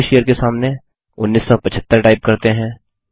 publisher के सामने 1975 type करते हैं